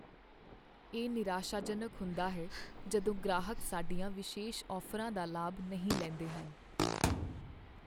ਇਹ ਨਿਰਾਸ਼ਾਜਨਕ ਹੁੰਦਾ ਹੈ ਜਦੋਂ ਗ੍ਰਾਹਕ ਸਾਡੀਆਂ ਵਿਸ਼ੇਸ਼ ਔਫ਼ਰਾਂ ਦਾ ਲਾਭ ਨਹੀਂ ਲੈਂਦੇ ਹਨ।